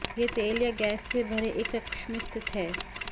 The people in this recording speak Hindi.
यह तेल या गैस से भरे एक कक्ष में स्थित है